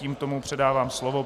Tímto mu předávám slovo.